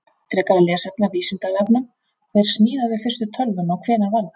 Frekara lesefni af Vísindavefnum: Hver smíðaði fyrstu tölvuna og hvenær var það?